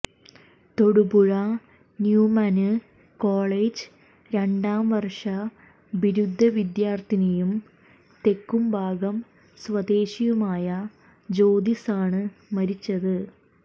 Thodupuzha Newman college രണ്ടാം വര്ഷ ബിരുദ വിദ്യാര്ത്ഥിയും തെക്കുംഭാഗം സ്വദേശിയുമായ ജ്യോതിസാണ് മരിച്ചത്